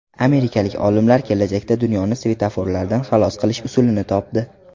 Amerikalik olimlar kelajakda dunyoni svetoforlardan xalos qilish usulini topdi.